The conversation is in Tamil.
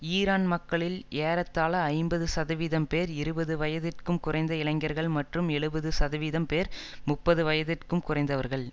ஈரான் மக்களில் ஏறத்தாழ ஐம்பது சதவீதம் பேர் இருபது வயதிற்கும் குறைந்த இளைஞர்கள் மற்றும் எழுபது சதவீதம் பேர் முப்பது வயதிற்கும் குறைந்தவர்கள்